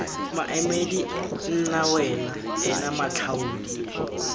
maemedi nna wena ena matlhaodi